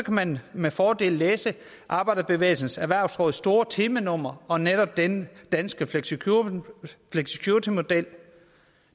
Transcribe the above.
man med fordel læse arbejderbevægelsens erhvervsråds store temanummer om netop den danske flexicuritymodel